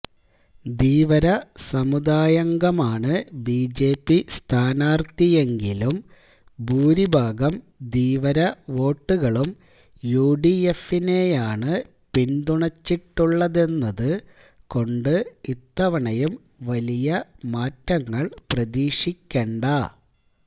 ധീവര സമുദായാംഗമാണ് ബിജെപി സ്ഥാനാര്ഥിയെങ്കിലും ഭൂരിഭാഗം ധീവര വോട്ടുകളും യുഡിഎഫിനെയാണ് പിന്തുണച്ചിട്ടുള്ളതെന്നതുകൊണ്ട് ഇത്തവണയും വലിയ മാറ്റങ്ങള് പ്രതീക്ഷിക്കണ്ട